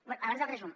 bé abans del resum